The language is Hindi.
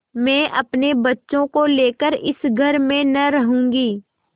मैं अपने बच्चों को लेकर इस घर में न रहूँगी